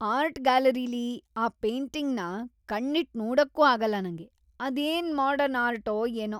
art ಗ್ಯಾಲರಿಲಿ ಆ ಪೇಂಟಿಂಗ್‌ನ ಕಣ್ಣಿಟ್ ನೋಡಕ್ಕೂ ಆಗಲ್ಲ ನಂಗೆ; ಅದೇನ್‌ ಮಾಡರ್ನ್‌ ಆರ್ಟೋ ಏನೋ..